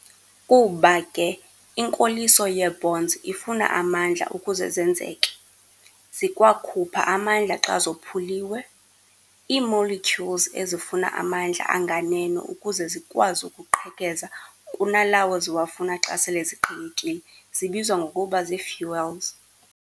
Kuba ke inkoliso yee-bonds ifuna amandla ukuze zenzeke, zikwakhupha amandla xa zophuliwe. Ii-Molecules ezifuna amandla anganeno ukuze zikwazi ukuqhekeza kunalawo ziwafuna xa sele ziqhekekile zibizwa ngokuba zii-fuels.